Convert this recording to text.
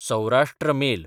Saurashtra mail